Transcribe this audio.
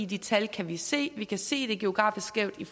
de tal kan vi se vi kan se det er geografisk skævt i